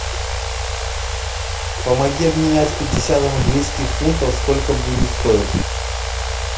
помоги обменять пятьдесят английских фунтов сколько будет стоить